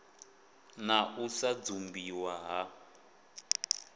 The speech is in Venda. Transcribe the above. na u sa dzumbiwa ha